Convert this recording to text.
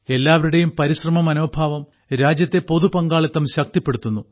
എല്ലാവരുടെയും പരിശ്രമമനോഭാവം രാജ്യത്തെ പൊതുപങ്കാളിത്തം ശക്തിപ്പെടുത്തുന്നു